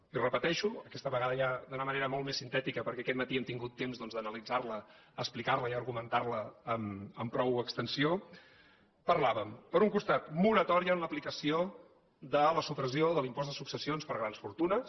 i ho repeteixo aquesta vegada ja d’una manera molt més sintètica perquè aquest matí hem tingut temps doncs d’analitzar la explicar la i argumentar la amb prou extensió parlàvem per un costat de moratòria en l’aplicació de la supressió de l’impost de successions per a grans fortunes